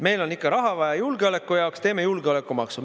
Meil on ikka raha vaja julgeoleku jaoks, teeme julgeolekumaksu.